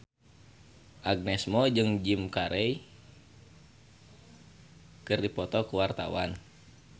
Agnes Mo jeung Jim Carey keur dipoto ku wartawan